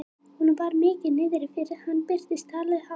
Honum var mikið niðri fyrir þegar hann birtist, talaði hátt og sagði